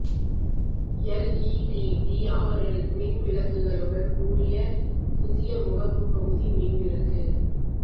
LED DRL மின் விளக்குகளுடன் கூடிய புதிய முகப்பு பகுதி மின் விளக்கு